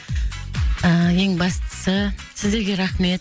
ыыы ең бастысы сіздерге рахмет